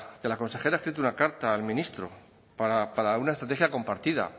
que la consejera ha escrito una carta al ministro para una estrategia compartida